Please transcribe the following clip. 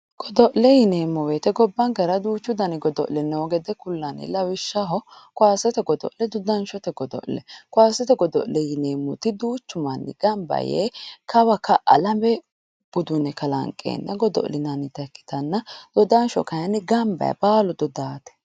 Godo'le yineemmo woyiite gobbankera duuchu dani godo'le noo gede kullanni lawishshaho kowasete godo'le dodanshote godo'le. Kowaasete godo'le yineemmoti duuchu manni gamba yee kawa ka'a lame budune kalanqeenna godo'linannita ikkitanna dodansho kaayiinni gamba yee baalu dodaate.